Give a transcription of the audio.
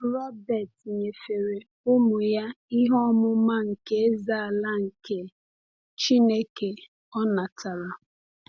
Robert nyefere ụmụ ya ihe ọmụma nke Eze-ala nke Chineke o natara.